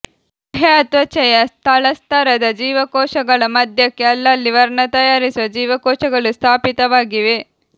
ಬಾಹ್ಯತ್ವಚೆಯ ತಳಸ್ತರದ ಜೀವಕೋಶಗಳ ಮಧ್ಯಕ್ಕೆ ಅಲ್ಲಲ್ಲಿ ವರ್ಣ ತಯಾರಿಸುವ ಜೀವಕೋಶಗಳು ಸ್ಥಾಪಿತವಾಗಿವೆ